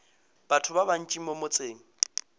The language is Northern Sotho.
batho ba bantši mo motseng